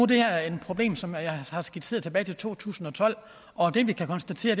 det her problem som jeg har skitseret tilbage til to tusind og tolv og det vi kan konstatere